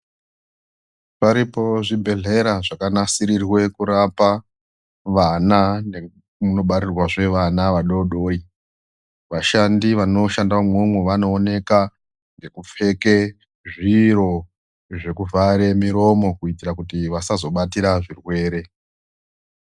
Paripo zvibhedhlera zvakanasirirwe kurapa vana nemunobarirwazve vana vadoodori vashandi vanoshanda vanoshanda umwowo vanooneka ngekupfeke zviro zvekuvhare miromo kuitira kuti vasazobatira zvirwere.